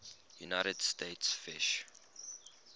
united states fish